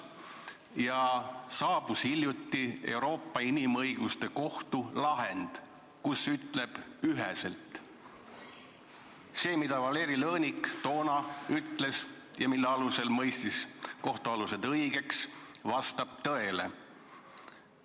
Hiljuti saabus Euroopa Inimõiguste Kohtu lahend, kus öeldakse üheselt, et see, mida Valeri Lõõnik toona ütles ja mille alusel kohtualused õigeks mõistis, vastab tõele.